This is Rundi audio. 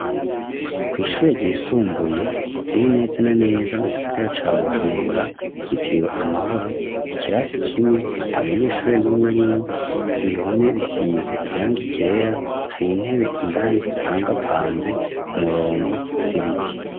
Kw'ishuri gihe ryisumbuye riri neza na neza mu gisogara ca bujumbura byitiriwe amahoro ikirasi kimwe ata munyeshuri n'umw arimu ibihome bisize irang igera hari intebe indani zipangapanze ku murongo z'ibiti.